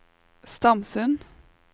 Stamsund